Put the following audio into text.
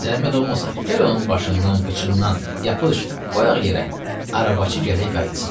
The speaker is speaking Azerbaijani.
Zəhmət olmasa, gəl onun başından, qıçından yapış, qoyaq yerə, arabaçı gərək qayıtsın.